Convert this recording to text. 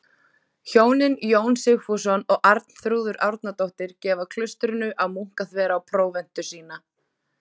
Hjónin Jón Sigfússon og Arnþrúður Árnadóttir gefa klaustrinu á Munkaþverá próventu sína.